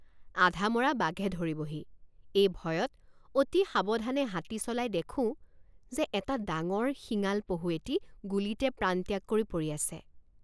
আধামৰা বাঘে ধৰিবহি এই ভয়ত অতি সাৱধানে হাতী চলাই দেখোঁ যে এটা ডাঙৰ শিঙাল পহু এটি গুলীতে প্ৰাণত্যাগ কৰি পৰি আছে।